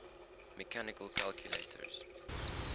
mechanical calculators